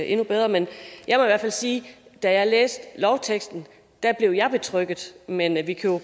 endnu bedre men jeg må i hvert fald sige at da jeg læste lovteksten blev jeg betrygget men vi vi kan jo